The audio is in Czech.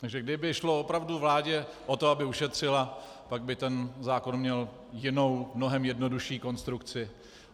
Takže kdyby šlo opravdu vládě o to, aby ušetřila, pak by ten zákon měl jinou, mnohem jednodušší konstrukci.